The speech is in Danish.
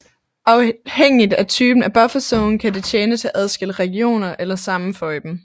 Afhængigt af typen af bufferzone kan det tjene til at adskille regioner eller sammenføje dem